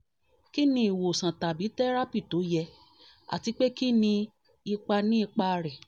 kí ni ìwòsàn tàbí tẹ́rápì tó yẹ àti pé kí ni ipa ni ipa rẹ̀